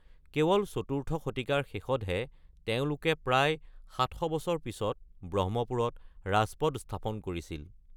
কেৱল চতুৰ্থ শতিকাৰ শেষত তেওঁলোকে প্ৰায় ৭০০ বছৰ পিছত ব্ৰহ্মপুৰত ৰাজপদ স্থাপন কৰিছিল।